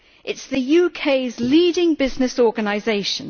It is the UK's leading business organisation.